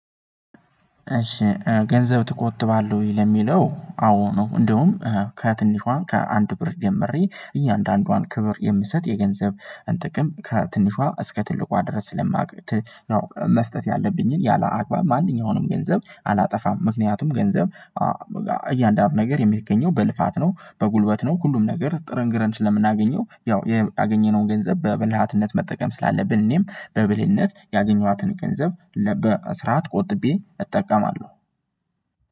እሺ ገንዘብ ትቆጥባለሁ ወይ? ለሚለው አዎ ነው። እንደውም ከትንሿም ከአንድ ብር ጀመሬ እያንዳንዷን ክብር የምሰጥ የገንዘብን ጥቅም ከትንሿ እስከ ትልቋ ድረስ ስለማቅ ነው መስጠት ያለብኝን ያላአግባብ ማንኛውንም ገንዘብ አላጠፋም። ምክንያቱም ገንዘብ እያንዳንዱ ነገር የሚገኘው በልፋት ነው በጉልበት ነው ሁሉም ነገር ጥርን ግረን ስለምናገኘው ያው ያገኘነውን ገንዘብ በብልሃትነት መጠቀም ስላለብን። እኔም በብልህነት ያገኘኋትን ገንዘብ ለበ በስራት ቆጥቤ እጠቀማለሁ።